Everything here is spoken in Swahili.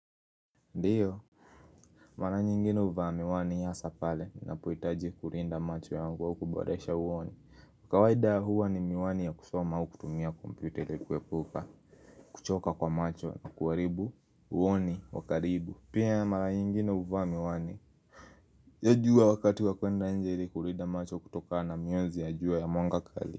Ndiyo, mara nyingine huvaa miwani hasa pale, minapohitaji kulinda macho ya wangu wa kuboresha uoni. Mkawaida huwa ni miwani ya kusoma wa kutumia kompyuta li kwekuka, kuchoka kwa macho, kuwaribu, uoni, wakaribu. Pia mara nyingine huvaa miwani, ya juwa wakati wa kuenda nje ili kulinda macho kutokana na mionzi ya jua ya mwangakali.